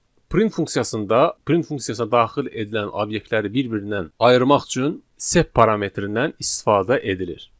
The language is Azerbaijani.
Print funksiyasında, print funksiyasına daxil edilən obyektləri bir-birindən ayırmaq üçün sep parametrindən istifadə edilir.